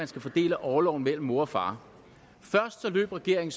skal fordele orloven mellem mor og far først løb regeringen